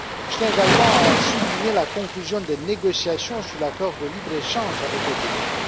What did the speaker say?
Je tiens également à souligner la conclusion des négociations sur l'accord de libre échange avec le Viêt Nam.